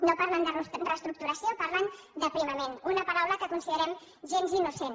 no parlen de reestructuració parlen d’ aprimament una paraula que considerem gens innocent